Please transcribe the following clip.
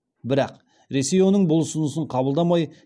бірақ ресей оның бұл ұсынысын қабылдамай